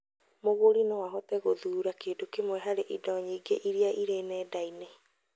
Mũgũri no ahote gũthura kĩndũ kĩmwe harĩ indo nyingĩ iria irĩ nenda-inĩ